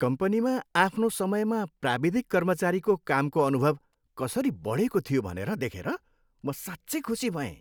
कम्पनीमा आफ्नो समयमा प्राविधिक कर्मचारीको कामको अनुभव कसरी बढेको थियो भनेर देखेर म साँच्चै खुसी भएँ।